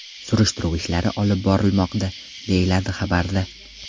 Surishtiruv ishlari olib borilmoqda, deyiladi xabarda.